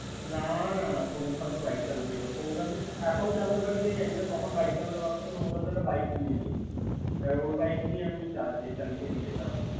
না না সৌম শান্ত বাইক চালাতে পারত না শৌম শান্ত এখন চালাতে পারে কি না জানি না তখন বাইক চালাতে পারতো না। সৌম শান্ত একটা বাইক কিনে নিয়েছিল ওর বাইক নিয়ে আমি চালিয়ে চালিয়ে যেতাম আর কি।